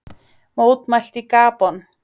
Mótmælt í Gabon